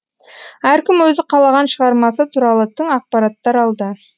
әркім өзі қалаған шығармасы туралы тың ақпараттар алды